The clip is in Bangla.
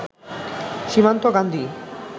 সীমান্ত গান্ধী